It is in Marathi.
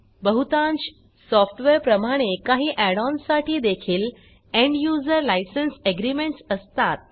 बहुतांश सॉफ्टवेअर प्रमाणे काही add ओएनएस साठी देखील end यूझर लायसेन्स एग्रीमेंट्स असतात